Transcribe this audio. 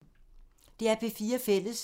DR P4 Fælles